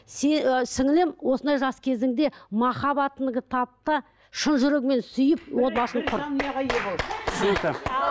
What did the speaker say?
і сіңлілім осындай жас кезіңде махаббатыңды тап та шын жүрегіңмен сүйіп отбасын құр